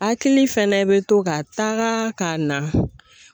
Hakili fɛnɛ bɛ to ka taaga ka na.